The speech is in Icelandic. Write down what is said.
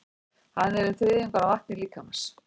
Hann er um þriðjungur af vatni líkamans.